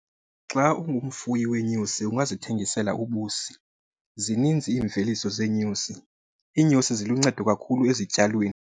Xa ungumfuyi weenyosi ungazithengisela ubusi. Zininzi iimveliso zeenyosi, iinyosi ziluncedo kakhulu ezityalweni.